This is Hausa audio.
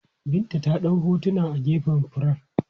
Binta ta ɗau hotuna a gefen furen.